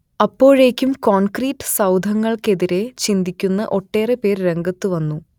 അപ്പോഴേക്കും കോൺക്രീറ്റ് സൗധങ്ങൾക്കെതിരെ ചിന്തിക്കുന്ന ഒട്ടേറെപ്പേർ രംഗത്തുവന്നു